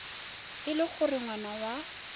e le gore ngwana wa